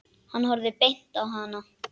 Hann horfði beint á hana.